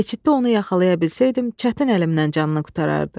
Keçiddə onu yaxalaya bilsəydim, çətin əlimdən canını qurtarardı.